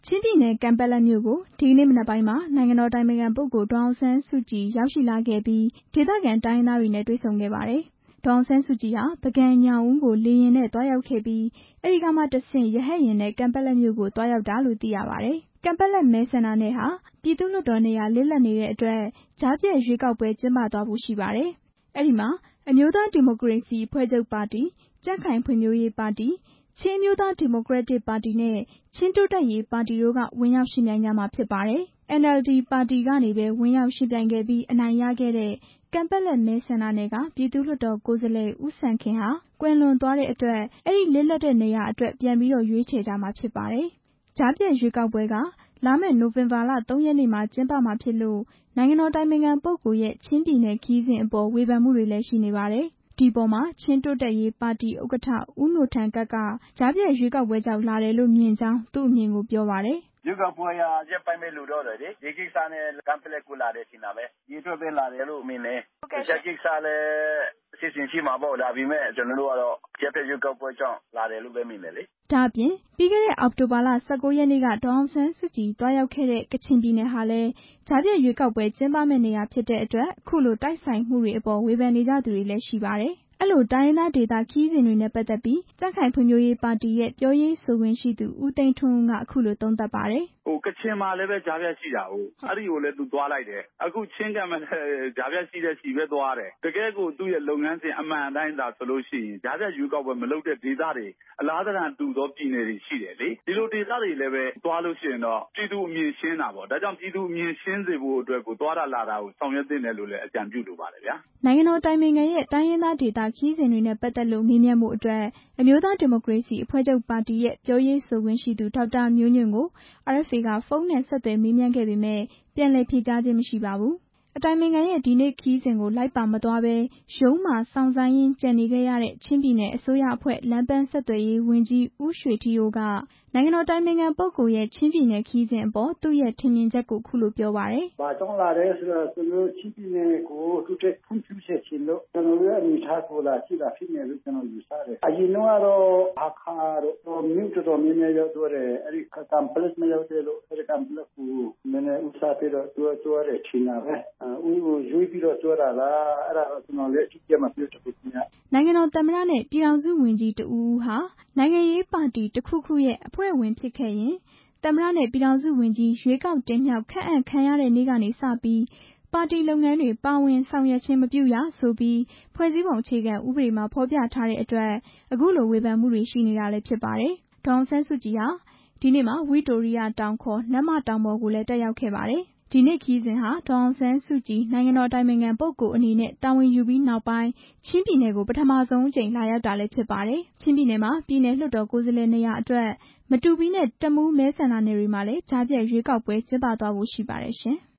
ချင်းပြည်နယ်၊ ကန်ပက်လက်မြို့ကို ဒီနေ့မနက်ပိုင်းက နိုင်ငံတော်အတိုင်ပင်ခံပုဂ္ဂိုလ် ဒေါ်အောင်ဆန်းစုကြည် သွားရောက်ခဲ့ပြီး ဒေသခံတိုင်းရင်းသားတွေနဲ့ တွေ့ဆုံခဲ့ပါတယ်။ ဒေါ်အောင်ဆန်းစုကြည်ဟာ ပုဂံ၊ ညောင်ဦးကို လေယာဉ်နဲ့ သွားရောက်ခဲ့ပြီး အဲဒီကမှတဆင့် ရဟတ်ယာဉ်နဲ့ ကန်ပက်လက်မြို့ကို သွားရောက်တာလို့ သိရပါတယ်။ ကန်ပက်လက်မဲဆန္ဒနယ်က ပြည်သူ့လွှတ်တော်နေရာ လစ်လပ်နေတဲ့အတွက် ကြားဖြတ်ရွေးကောက်ပွဲ ကျင်းပသွားဖို့ ရှိပါတယ်။ အဲဒီမှာ အမျိုးသားဒီမိုကရေစီအဖွဲ့ချုပ်ပါတီ၊ ကြံ့ခိုင်ဖွံ့ဖြိုးရေးပါတီ၊ ချင်းဒီမိုကရေစီ အဖွဲ့ချုပ်ပါတီနဲ့ ချင်းတိုးတက်ရေးပါတီတို့ ဝင်ပြိုင်ကြမှာ ဖြစ်ပါတယ်။ NLD ပါတီကနေပဲ ဝင်ရောက်ယှဉ်ပြိုင်ခဲ့ပြီး အနိုင်ရခဲ့တဲ့ ကန်ပက်လက်မဲဆန္ဒနယ်က ပြည်သူ့လွှတ်တော် ကိုယ်စားလှယ် ဦးစံခင်ဟာ ကွယ်လွန်သွားတာကြောင့် အဲဒီလစ်လပ်နေရာအတွက် ပြန်လည်ရွေးချယ်ကြမှာ ဖြစ်ပါတယ်။ ကြားဖြတ်ရွေးကောက်ပွဲက လာမယ့် နိုဝင်ဘာလ ၃ ရက်နေ့မှာ ကျင်းပမှာဖြစ်လို့ နိုင်ငံတော်အတိုင်ပင်ခံပုဂ္ဂိုလ်ရဲ့ ချင်းပြည်နယ်ခရီးစဉ်အပေါ် ဝေဖန်မှုတွေလည်း ရှိနေပါတယ်။ ဒီအပေါ်မှာ ချင်းတိုးတက်ရေးပါတီ ဥက္ကဋ္ဌ ဦးနိုထန်ကပ် က ကြားဖြတ်ရွေးကောက်ပွဲကြောင့် လာတယ်လို့မြင်ကြောင်း အခုလို ပြောပါတယ်။ "ရွေးကောက်ပွဲက ရက်ပိုင်းပဲ လိုတော့တယ်လေ၊ ဒီကိစ္စနဲ့ ကန်ပက်လက်ကို လာတယ်လို့ ထင်တာပဲ၊ ဒီအတွက်ပဲ လာတယ်လို့ မြင်တယ်၊ တစ်ခြားကိစ္စလည်း ရှိချင်ရှိမှာပေါ့၊ ဒါပေမဲ့ ကျနော်တို့ကတော့ ကြားဖြတ်ရွေးကောက် ပွဲကြောင့် လာတယ်လို့ပဲမြင်တယ်လေ" ဒါ့အပြင် ပြီးခဲ့တဲ့ အောက်တိုဘာလ ၁၉ ရက်နေ့ကလည်း ဒေါ်အောင်ဆန်းစုကြည် သွားရောက်ခဲ့တဲ့ ကချင်ပြည်နယ် ဟာလည်း ကြားဖြတ်ရွေးကောက်ပွဲကျင်းပမယ့် နေရာဖြစ်နေတဲ့အတွက် အခုလို တိုက်ဆိုင်မှုတွေအပေါ် ဝေဖန်နေ ကြသူတွေလည်း ရှိပါတယ်။ အဲဒီလို တိုင်းရင်းသားဒေသ ခရီးစဉ်တွေနဲ့ ပတ်သက်ပြီး ကြံ့ခိုင်ဖွံ့ဖြိုးရေးပါတီရဲ့ ပြောရေးဆိုခွင့်ရှိသူ ဦးသိန်းထွန်းဦး က အခုလို သုံးသပ်ပါတယ်။ "ကချင်မှာလည်းပဲ ကြားဖြတ်ရှိတာကိုး၊ အဲဒီကိုလည်းဘဲ သူသွားလိုက်တယ်၊ အခု ချင်းကျတော့လည်း ကြားဖြတ် ရှိတဲ့ဆီပဲသွားတယ်၊ တကယ့်ကို သူ့ရဲ့လုပ်ငန်းစဉ် အမှန်အတိုင်းသာဆိုလို့ရှိရင် ကြားဖြတ်ရွေးကောက်ပွဲ မလုပ် တဲ့ဒေသတွေ အလားသဏ္ဍန်တူသော ပြည်နယ်တွေရှိတယ်လေ၊ ဒီလိုဒေသတွေလည်းဘဲ သွားလို့ရှိရင်တော့ ပြည်သူအမြင်ရှင်းတာပေါ့၊ ဒါ့ကြောင့် ပြည်သူအမြင်ရှင်းစေဖို့အတွက်ကို သွားတာလာတာကို ဆောင်ရွက်သင့် တယ်လို့လည်း အကြံပြုလိုပါတယ်ဗျာ" နိုင်ငံတော်အတိုင်ပင်ခံရဲ့ တိုင်းရင်းသားဒေသ ခရီးစဉ်တွေနဲ့ ပတ်သက်လို့ မေးမြန်းဖို့အတွက် အမျိုးသား ဒီမိုကရေစီအဖွဲ့ချုပ်ပါတီရဲ့ ပြောရေးဆိုခွင့်ရှိသူ ဒေါက်တာမျိုးညွန့်ကို RFA က ဖုန်းနဲ့ ဆက်သွယ်မေးမြန်းခဲ့ပေမယ့် ပြန်လည်ဖြေကြားခြင်း မရှိပါဘူး။ အတိုင်ပင်ခံရဲ့ ဒီနေ့ ခရီးစဉ်ကို လိုက်ပါမသွားပဲ ရုံးမှာစောင့်ဆိုင်းရင်း ကျန်နေခဲ့ရတဲ့ ချင်းပြည်နယ်အစိုးရအဖွဲ့ လမ်းပန်းဆက်သွယ်ရေး ဝန်ကြီး ဦးရွှေထီးအိုး က နိုင်ငံတော်အတိုင်ပင်ခံပုဂ္ဂိုလ်ရဲ့ ချင်းပြည်နယ်ခရီးစဉ်အပေါ် သူ့ရဲ့ ထင်မြင်ချက်ကို အခုလို ပြောပါတယ်။ "ဘာကြောင့်လာလဲဆိုတော့ ကျနော်တို့ ချင်းပြည်နယ်ကို တိုးတက်ဖွံ့ဖြိုးစေချင်လို့ ကျနော်တို့ရဲ့ အနေအထားကို လာကြည့်တာလို့ ယူဆတယ်၊ အရင်တုန်းကတော့ ဟားခါးတို့ မြို့တော်တော်များများ ရောက်ဖူးတယ်၊ အဲဒီ ကန်ပက်လက် မရောက်ခဲ့လို့ ဦးစားပေးသွားတယ်ထင်တာပဲ၊ ရွေးပြီးတော့သွားတာလား အဲဒါတော့ ကျနော်လည်း အတိအကျမပြောတတ်ဘူးခင်ဗျ" နိုင်ငံတော်သမ္မတနဲ့ ပြည်ထောင်စုဝန်ကြီးတစ်ဦးဦးဟာ နိုင်ငံရေးပါတီတစ်ခုခုရဲ့ အဖွဲ့ဝင်ဖြစ်ခဲ့ရင် သမ္မတနဲ့ ပြည်ထောင်စု ဝန်ကြီး ရွေးကောက်တင်မြှောက် ခန့်အပ်ခံရတဲ့နေ့ကစပြီး ပါတီလုပ်ငန်းတွေ ပါဝင်ဆောင်ရွက်ခြင်း မပြုရဆိုပြီး ဖွဲ့စည်းပုံအခြေခံဥပဒေမှာ ဖော်ပြထားတဲ့အတွက် အခုလို ဝေဖန်မှုတွေရှိနေတာလည်း ဖြစ်ပါတယ်။ ဒေါ်အောင်ဆန်းစုကြည်ဟာ ဒီနေ့မှာ ဝိတိုရိယတောင် နတ်မတောင်ပေါ်ကိုလည်း တက်ရောက်ခဲ့ကြပါတယ်။ ဒီနေ့ ခရီးစဉ်ဟာ ဒေါ်အောင်ဆန်းစုကြည် နိုင်ငံတော်အတိုင်ပင်ခံပုဂ္ဂိုလ်အနေနဲ့ တာဝန်ယူပြီးနောက်ပိုင်း ချင်းပြည်နယ်ကို ပထမဆုံး လာရောက်တာလည်းဖြစ်ပါတယ်။ ချင်းပြည်နယ်မှာ ပြည်နယ်လွှတ်တော် ကိုယ်စားလှယ် နေရာတွေအတွက် မတူပီနဲ့ တမူး မဲဆန္ဒနယ်တွေမှာလည်း ကြားဖြတ်ရွေးကောက်ပွဲကျင်းပသွားဖို့ ရှိပါတယ်ရှင်။